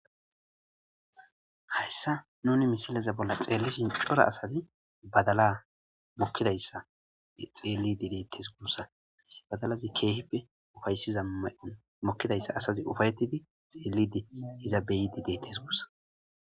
Hayssa nuni misileza bolla xeellishin cora asazi badala mokkidayssa xeellidi deettes guussa hissi badalazi keehipe ufayssiza may'on mokkidayssa asazi ufayetidi xeelidi iza beyidi deettes gussa.